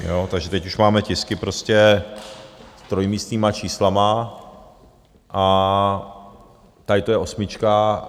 Takže teď už máme tisky prostě s trojmístnými čísly a tady to je osmička.